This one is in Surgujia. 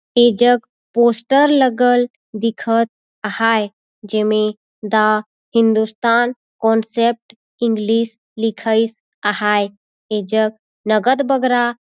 ये जग पोस्टर लगल दिखत आहाय जेमे दा हिन्दुस्तान कॉन्सेप्ट इंग्लिश लिखाईस आहाय ए जग नगद बगरा--